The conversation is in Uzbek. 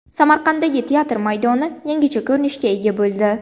Samarqanddagi teatr maydoni yangicha ko‘rinishga ega bo‘ldi.